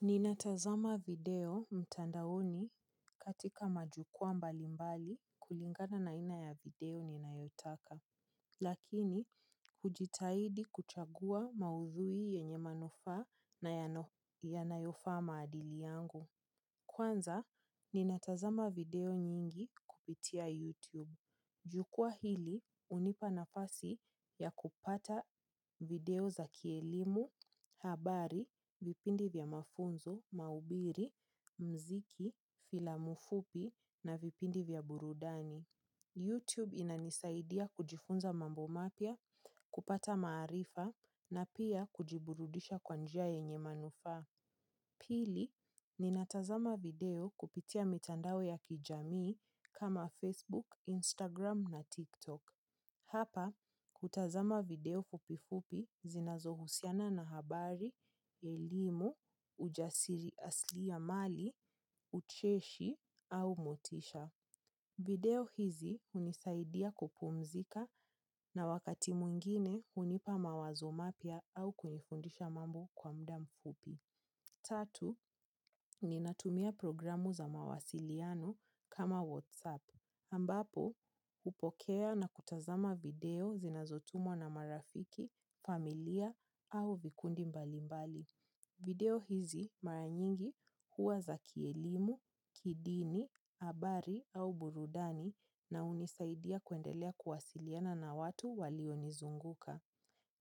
Ninatazama video mtandaoni katika majukwaa mbali mbali kulingana na ina ya video ninayotaka. Lakini, hujitahidi kuchagua maudhui yenye manufaa na yanayofaa maadili yangu. Kwanza, ninatazama video nyingi kupitia YouTube. Jukwaa hili hunipa nafasi ya kupata video za kielimu habari vipindi vya mafunzo mahubiri muziki filamu fupi na vpindi vya burudani youtube inanisaidia kujifunza mambo mapya kupata maarifa na pia kujiburudisha kwa njia yenye manufaa. Pili, ninatazama video kupitia mitandao ya kijamii kama Facebook, Instagram na TikTok. Hapa, kutazama video fupifupi zinazohusiana na habari, elimu, ujasiri asli ya mali, ucheshi au motisha. Video hizi hunisaidia kupumzika na wakati mwingine hunipa mawazo mapia au kunifundisha mambo kwa mda mfupi. Tatu, ninatumia programu za mawasiliano kama WhatsApp. Ambapo, hupokea na kutazama video zinazotumwa na marafiki, familia au vikundi mbali mbali. Video hizi maranyingi huwa za kielimu, kidini, abari au burudani na unisaidia kwendelea kuwasiliana na watu walionizunguka.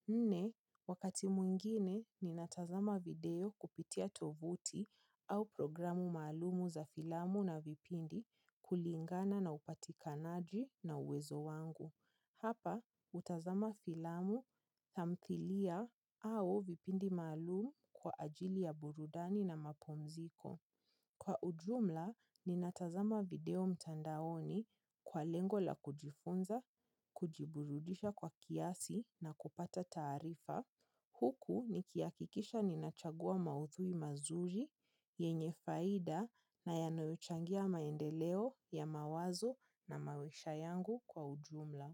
Nne, wakati mwingine, ninatazama video kupitia tovuti au programu maalumu za filamu na vipindi kulingana na upatikanaji na uwezo wangu. Hapa, utazama filamu, tamthilia au vipindi maalum kwa ajili ya burudani na mapumziko. Kwa ujumla, ninatazama video mtandaoni kwa lengo la kujifunza, kujiburudisha kwa kiasi na kupata taarifa. Huku, nikia kikisha ninachagua mauthui mazuri, yenye faida na yanoyochangia maendeleo ya mawazo na mawisha yangu kwa ujumla.